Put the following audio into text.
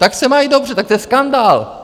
Tak se mají dobře, tak to je skandál.